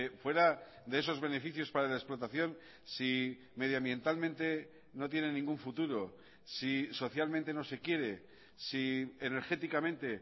fuera de esos beneficios para la explotación si medioambientalmente no tiene ningún futuro si socialmente no se quiere si energéticamente